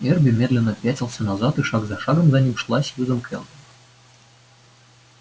эрби медленно пятился назад и шаг за шагом за ним шла сьюзен кэлвин